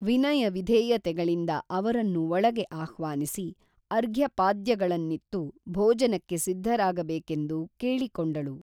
ವಿನಯ ವಿಧೇಯತೆಗಳಿಂದ ಅವರನ್ನು ಒಳಗೆ ಅಹ್ವಾನಿಸಿ ಅರ್ಘ್ಯಪಾದ್ಯಗಳನ್ನಿತ್ತು ಭೋಜನಕ್ಕೆ ಸಿದ್ಧರಾಗ ಬೇಕೆಂದು ಕೇಳಿಕೊಂಡಳು